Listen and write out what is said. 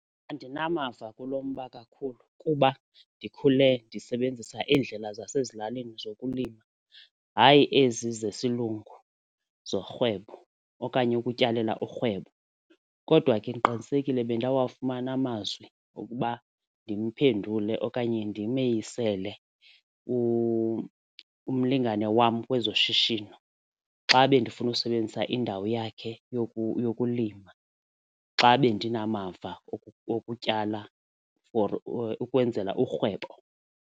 Andinamava kulo mba kakhulu kuba ndikhule ndisebenzisa iindlela zasezilalini zokulima hayi ezi zesilungu zorhwebo okanye ukutyalela urhwebo. Kodwa ke ndiqinisekile bendawafumana amazwi okuba ndimphendule okanye ndimeyisele umlingane wam kwezoshishino, xa bendifuna ukusebenzisa indawo yakhe yokulima. Xa bendinamava okutyala for ukwenzela urhwebo.